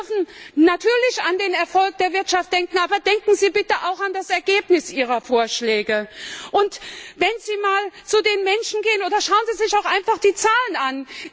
Sie dürfen natürlich an den Erfolg der Wirtschaft denken, aber denken Sie bitte auch an das Ergebnis Ihrer Vorschläge und gehen Sie mal zu den Menschen oder schauen Sie sich auch einfach die Zahlen an!